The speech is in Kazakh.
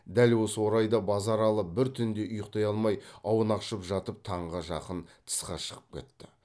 дәл осы орайда базаралы бір түнде ұйқтай алмай аунақшып жатып таңға жақын тысқа шығып кетті